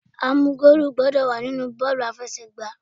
A mú goolu gbọ́dọ̀ wà nínú bọ́ọ̀lù aláfẹsẹ̀gbá.